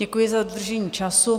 Děkuji za dodržení času.